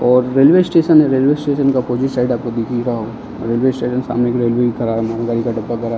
और railway station है। Railway station का अपोजिट साइड आपको दिख ही रहा होगा रेलवे स्टेशन मालगाड़ी का डब्बा भरा --